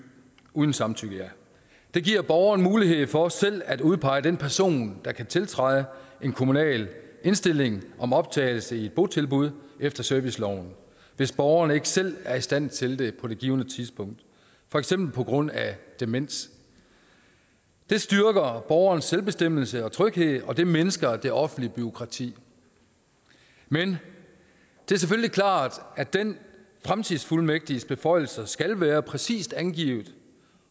uden samtykke det giver borgeren mulighed for selv at udpege den person der kan tiltræde en kommunal indstilling om optagelse i et botilbud efter serviceloven hvis borgeren ikke selv er i stand til det på det givne tidspunkt for eksempel på grund af demens det styrker borgerens selvbestemmelse og tryghed og det mindsker det offentlige bureaukrati men det er selvfølgelig klart at den fremtidsfuldmægtiges beføjelser skal være præcist angivet